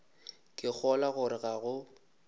ke kgolwa gore ga go